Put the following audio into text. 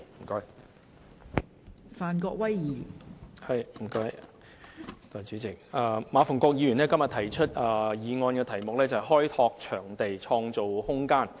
代理主席，馬逢國議員今天提出的議案題為"開拓場地，創造空間"。